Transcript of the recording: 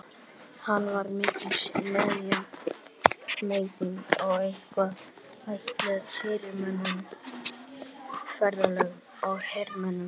Hann var mikils metinn og einkum ætlaður fyrirmönnum, ferðalöngum og hermönnum.